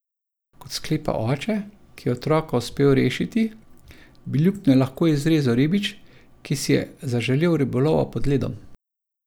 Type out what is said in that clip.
Kot sklepa oče, ki je otroka uspel rešiti, bi luknjo lahko izrezal ribič, ki si je zaželel ribolova pod ledom.